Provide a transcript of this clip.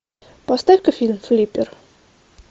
поставь ка фильм флиппер